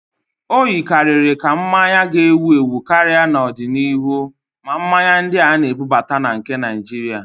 O yikarịrị ka mmanya ga-ewu ewu karịa n'ọdịniihu, ma mmanya ndị a na-ebubata na nke Naịjirịa